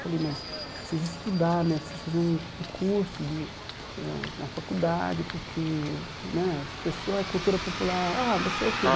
Falei, mas preciso estudar né, preciso fazer um um curso hum eh, uma faculdade, porque né as pessoas da cultura popular... Ah, você é o quê?